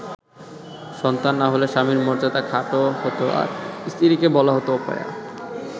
সন্তান না হলে স্বামীর মর্যাদা খাটো হতো আর স্ত্রীকে বলা হতো অপয়া।